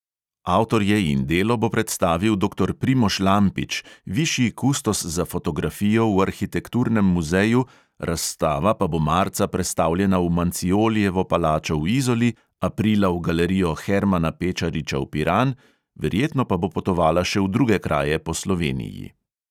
Avtorje in delo bo predstavil doktor primož lampič, višji kustos za fotografijo v arhitekturnem muzeju, razstava pa bo marca prestavljena v manciolijevo palačo v izoli, aprila v galerijo hermana pečariča v piran, verjetno pa bo potovala še v druge kraje po sloveniji.